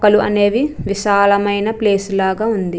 మొక్కలు అనేవి విశాలమైన ప్లేస్ లాగా ఉంది.